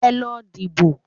Ẹ lọ dìbò